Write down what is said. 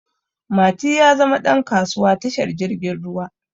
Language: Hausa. Mati ya zama ɗan kasuwa tashar jirgin ruwa